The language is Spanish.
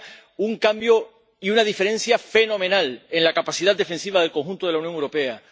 Haría un cambio y una diferencia fenomenal en la capacidad defensiva del conjunto de la Unión Europea.